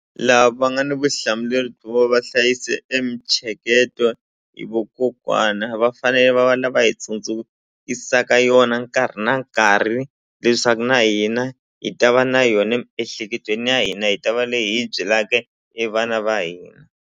Lava va nga ni vuhlamuleri byo va hlayise e mintsheketo i vokokwana va fanele va va lava hi tsundzukisaka yona nkarhi na nkarhi leswaku na hina hi ta va na yona emiehleketweni ya hina hi ta va leyi hi byelaka e vana va hina.